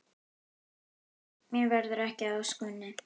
Mér verður ekki að ósk minni.